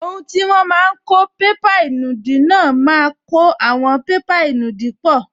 Ohun tí wọ́n máa n kó bébà ìnùdí náà máa kó àwọn bébà ìnùdí pọ̀